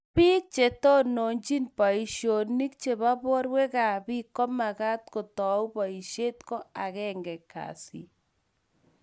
biik che tononchini boisionik chebo borwekab biik ko mekat kuutou boisie ko agenge kasi.